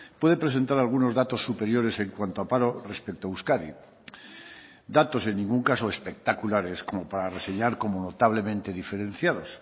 puede presentar algunos datos superiores en cuanto a paro respecto a euskadi datos en ningún caso espectaculares como para reseñar como notablemente diferenciados